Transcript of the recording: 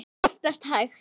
Það er oftast hægt.